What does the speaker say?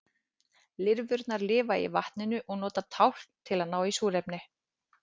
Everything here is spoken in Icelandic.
lirfurnar lifa í vatninu og nota tálkn til að ná í súrefni